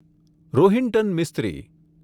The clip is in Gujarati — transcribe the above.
રોહિન્ટન મિસ્ત્રી